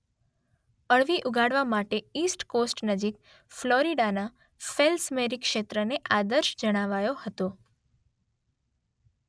અળવી ઉગાડવા માટે ઈસ્ટ કોસ્ટ નજીક ફ્લોરિડાના ફેલ્સમેરી ક્ષેત્રને આદર્શ જણાવાયો હતો.